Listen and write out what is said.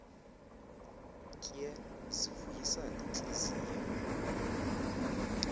tye zivuyisa intliziyo